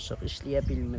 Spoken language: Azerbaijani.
İşləyə bilmirik.